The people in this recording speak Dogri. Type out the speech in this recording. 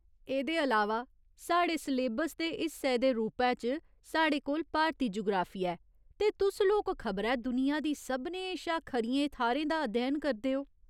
एह्दे अलावा, साढ़े स्लेबस दे हिस्से दे रूपै च साढ़े कोल भारती जुगराफिया ऐ, ते तुस लोक खबरै दुनिया दी सभनें शा खरियें थाह्‌रें दा अध्ययन करदे ओ !